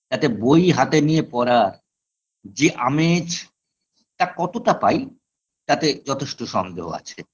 তাতে বই হাতে নিয়ে পড়া যে আমেজ তা কতটা পাই তাতে যথেষ্ট সন্দেহ আছে